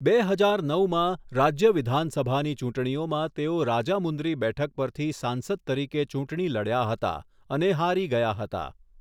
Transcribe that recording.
બે હજાર નવમાં, રાજ્ય વિધાનસભાની ચૂંટણીઓમાં તેઓ રાજામુંદ્રી બેઠક પરથી સાંસદ તરીકે ચૂંટણી લડ્યા હતા અને હારી ગયા હતા.